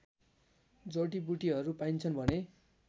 जडिबुटीहरू पाइन्छन् भने